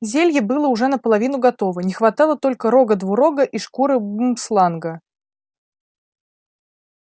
зелье было уже наполовину готово не хватало только рога двурога и шкуры бумсланга